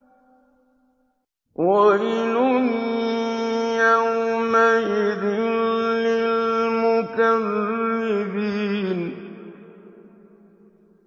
وَيْلٌ يَوْمَئِذٍ لِّلْمُكَذِّبِينَ